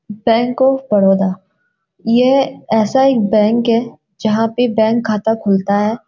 Bank of Baroda यह ऐसा एक बैंक है जहां पे बैंक खाता खुलता है।